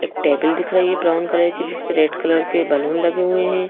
एक टेबल दिख रही है ये ब्राउन कलर की जिस परे रेड कलर के बलून लगे हुए हैं।